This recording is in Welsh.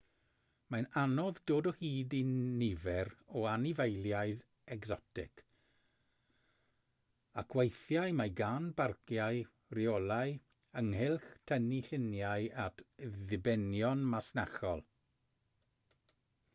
mae'n anodd dod o hyd i nifer o anifeiliaid ecsotig ac weithiau mae gan barciau reolau ynghylch tynnu lluniau at ddibenion masnachol